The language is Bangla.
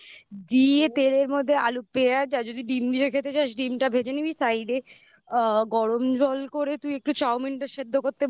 তেলের মধ্যে আলু পেঁয়াজ আর যদি ডিম দিয়ে খেতে চাস ডিমটা ভেজে নিবি side এ গরম জল করে তুই একটু চাউমিনটা সেদ্ধ করতে বসিয়ে দিবি